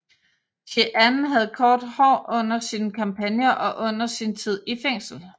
Jeanne havde kort hår under sine kampagner og under sin tid i fængsel